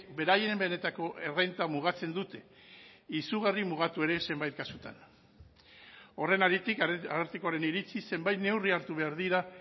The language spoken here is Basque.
beraien benetako errenta mugatzen dute izugarri mugatu ere zenbait kasutan horren haritik arartekoaren iritziz zenbait neurri hartu behar dira